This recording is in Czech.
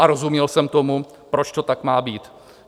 A rozuměl jsem tomu, proč to tak má být.